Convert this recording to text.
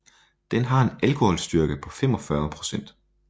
Den har en alkoholstyrke på 45 procent